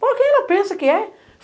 Pô, quem ela pensa que é?